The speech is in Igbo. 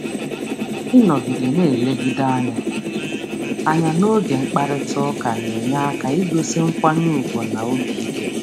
Ịnọgide na-enwe mmekọ anya mmekọ anya n’oge mkparịta ụka na-enyere aka igosi nkwanye ùgwù na ntụkwasị obi.